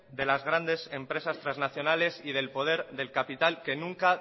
de las grandes empresas transnacionales y del poder del capital que nunca